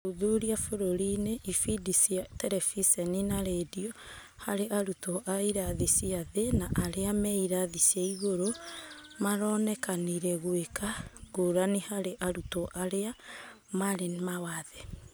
ũthuthuria bũrũri-inĩ, ibindi cia Terebiceni na rendio harĩ arutwo a ĩrathi cia thĩ na arĩa meirathi cia igũrũ maronekanire gũĩka ngũrani harĩ arutwo arĩa marĩ mawathe.